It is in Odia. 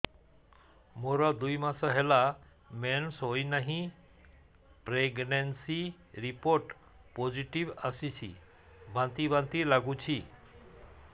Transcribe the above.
ମୋର ଦୁଇ ମାସ ହେଲା ମେନ୍ସେସ ହୋଇନାହିଁ ପ୍ରେଗନେନସି ରିପୋର୍ଟ ପୋସିଟିଭ ଆସିଛି ବାନ୍ତି ବାନ୍ତି ଲଗୁଛି